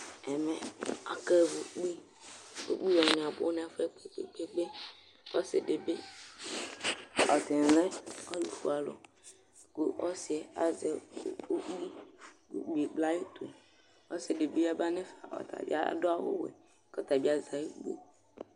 Ɛmɛ akewu ukpi Ukpi wanɩ abʋ nʋ ɛfʋ yɛ kpe-kpe-kpe Ɔsɩ dɩ bɩ, atanɩ lɛ ɛtʋfuealʋ kʋ ɔsɩ yɛ azɛ u ukpi ukpi ekple ayʋ ʋtʋ Ɔsɩ dɩ bɩ yaba nʋ ɛfɛ, ɔta bɩ adʋ awʋwɛ kʋ ɔta bɩ azɛ ayʋ ukpi yɛ